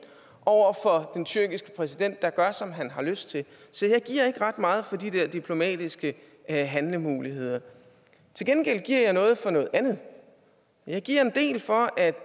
over for den tyrkiske præsident der gør som han har lyst til så jeg giver ikke ret meget for de der diplomatiske handlemuligheder til gengæld giver jeg noget for noget andet jeg giver en del for at